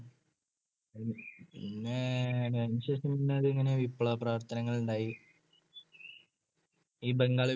അതിനുശേഷം പിന്നെ അതിങ്ങനെ വിപ്ലവപ്രവർത്തനങ്ങളുണ്ടായി. ഈ ബംഗാൾ വിഭജനത്തിന